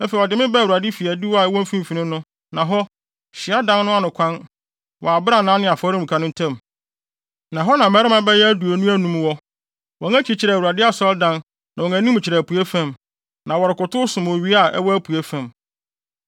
Afei ɔde me baa Awurade fi adiwo a ɛwɔ mfimfini no, na hɔ, hyiadan no ano kwan, wɔ abrannaa ne afɔremuka no ntam, na hɔ na mmarima bɛyɛ aduonu anum wɔ. Wɔn akyi kyerɛ Awurade asɔredan na wɔn anim kyerɛ apuei fam, na wɔrekotow som owia a ɛwɔ apuei fam.